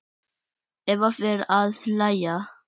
Eva fer að hlæja.